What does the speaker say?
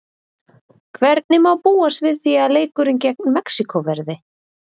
Hvernig má búast við því að leikurinn gegn Mexíkó verði?